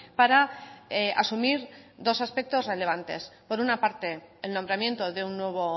para asumir dos aspectos relevantes por una parte el nombramiento de un nuevo